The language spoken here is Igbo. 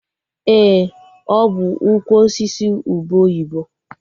Ee, ọ bụ ukwu osisi ube oyibo